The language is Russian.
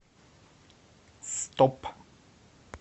стоп